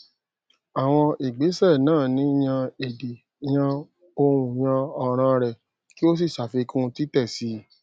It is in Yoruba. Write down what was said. àwọn ìgbésè náà ni yan èdè yan ohùnyan òràn rẹ kí o sì sàfikún títè si